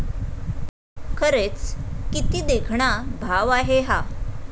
खरेच किती देखणा भाव आहे हा!